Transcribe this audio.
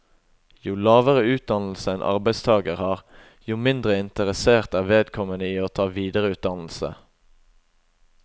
Jo lavere utdannelse en arbeidstager har, jo mindre interessert er vedkommende i å ta videreutdannelse.